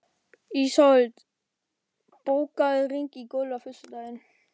Ísold, bókaðu hring í golf á föstudaginn.